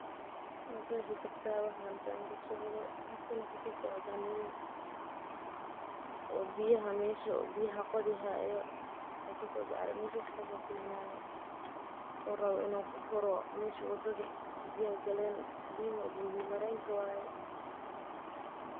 Maqexi karta waxa halkan kasocdo waxan arki haya nin qodhi hayo meshi wadadhi biyaha galen biya marenki waye sas waye marka.